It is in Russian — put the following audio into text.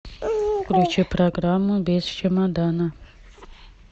включи программу без чемодана